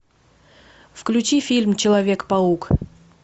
включи фильм человек паук